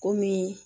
Komi